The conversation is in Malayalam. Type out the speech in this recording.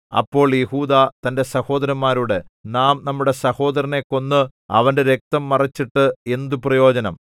അപ്പോൾ യെഹൂദാ തന്റെ സഹോദരന്മാരോട് നാം നമ്മുടെ സഹോദരനെ കൊന്ന് അവന്റെ രക്തം മറച്ചിട്ട് എന്ത് പ്രയോജനം